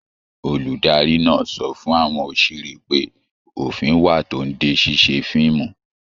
Olùdarí náà sọ fún àwọn òṣèré pé òfin wà tó n dé ṣiṣe fíìmù.